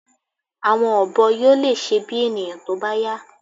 ̀Àwọn ọ̀bọ yóò lè ṣe bí ènìyàn tó bá yá